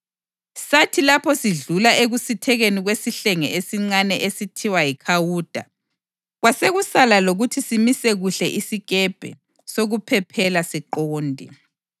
Sathi lapho sidlula ekusithekeni kwesihlenge esincane esithiwa yiKhawuda, kwasekusala lokuthi simise kuhle isikepe sokuphephela siqonde.